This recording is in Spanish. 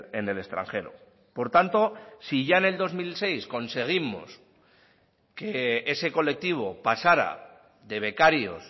en el extranjero por tanto si ya en el dos mil seis conseguimos que ese colectivo pasara de becarios